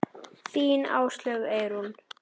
Þín Áslaug Eyrún.